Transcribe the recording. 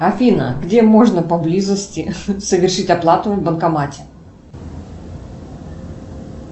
афина где можно поблизости совершить оплату в банкомате